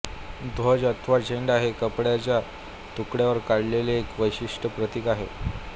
ध्वज अथवा झेंडा हे कापडाच्या तुकड्यावर काढलेले एक विशिष्ठ प्रतिक आहे